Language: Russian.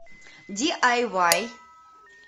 ди ай вай